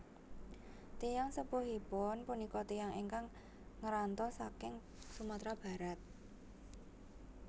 Tiyang sepuhipun punika tiyang ingkang ngranto saking Sumatera Barat